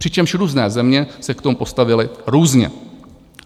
Přičemž různé země se k tomu postavily různě.